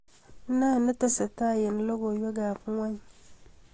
Netestai eng logoiwekab ng'ony